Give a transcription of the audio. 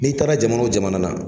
N'i taara jamana o jamana na,